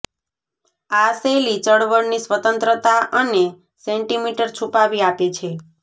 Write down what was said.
આ શૈલી ચળવળની સ્વતંત્રતા અને સેન્ટીમીટર છુપાવી આપે છે